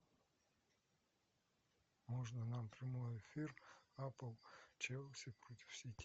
можно нам прямой эфир апл челси против сити